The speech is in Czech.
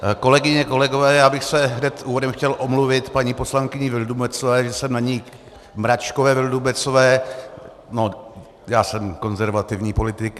Kolegyně, kolegové, já bych se hned úvodem chtěl omluvit paní poslankyni Vildumetzové, že jsem na ni - Mračkové, Vildumetzové, no, já jsem konzervativní politik.